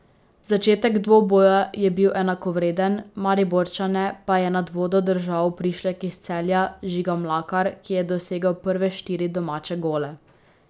Začetek dvoboja je bil enakovreden, Mariborčane pa je nad vodo držal prišlek iz Celja, Žiga Mlakar, ki je dosegel prve štiri domače gole.